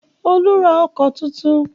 Olú ra ọkọ̀ tuntun.